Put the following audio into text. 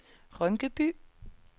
Rynkeby